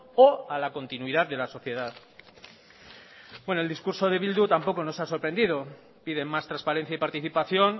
o a la continuidad de la sociedad bueno el discurso de bildu tampoco nos ha sorprendido piden más transparencia y participación